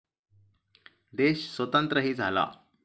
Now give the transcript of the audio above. देश स्वतंत्रही झाला.